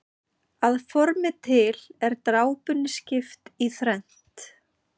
Að formi til er drápunni skipt í þrennt.